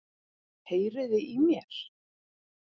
Heyriði í mér?